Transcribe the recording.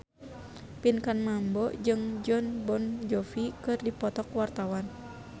Pinkan Mambo jeung Jon Bon Jovi keur dipoto ku wartawan